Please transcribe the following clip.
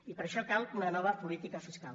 i per això cal una nova política fiscal